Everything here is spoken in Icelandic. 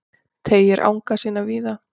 Teygir anga sína víða